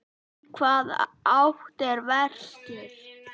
Í hvaða átt er vestur?